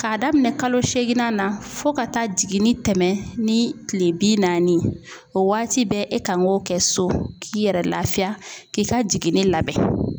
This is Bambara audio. Ka daminɛ kalo seeginna na fo ka taa jigin ni tɛmɛ ni kile bi naani ye, o waati bɛɛ e kan k'o kɛ so k'i yɛrɛ lafiya k'i ka jiginni labɛn.